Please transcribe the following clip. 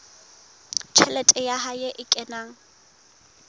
tjhelete ya hae e kenang